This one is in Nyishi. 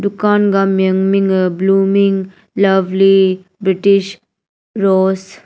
kan gah miyan ming hah blooming lovely british rose .